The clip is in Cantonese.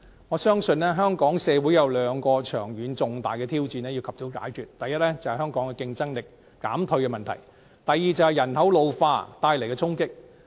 我相信，香港社會有兩個長遠重大的挑戰要及早解決：第一是香港競爭力減退的問題；第二是人口老化帶來的衝擊。